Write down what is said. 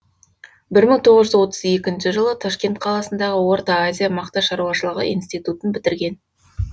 бір мың тоғыз жүз отыз екінші жылы ташкент қаласындағы орта азия мақта шаруашылығы институтын бітірген